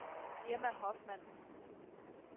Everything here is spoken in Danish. Irma Hoffmann